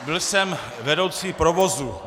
Byl jsem vedoucí provozu.